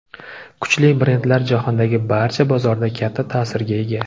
Kuchli brendlar jahondagi barcha bozorda katta ta’sirga ega.